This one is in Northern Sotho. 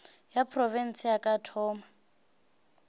ya profense a ka thoma